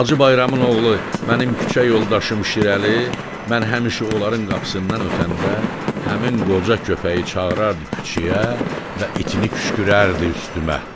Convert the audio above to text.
Hacı Bayramın oğlu, mənim küçə yoldaşım Şirəli, mən həmişə onların qapısından ötəndə həmin qoca köpəyi çağırırdı küçəyə və itinə küşkürürdü üstümə.